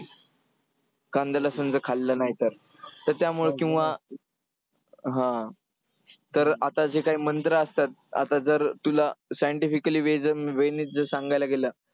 कांद्याला समजा खाल्लं नाही तर, तर त्यामुळं किंवा तर आता जे काही मंत्रं असतात, आता जर तुला scientifically way ने जर सांगायला गेलं,